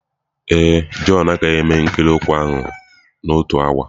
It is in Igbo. Ee e, Jọn agaghị eme ikiri ụkwụ ahụ n'otu awa.